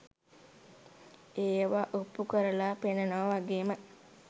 ඒවා ඔප්පු කරලා පෙන්නනවා වගේ ම